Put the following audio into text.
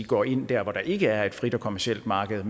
gå ind dér hvor der ikke er et frit og kommercielt marked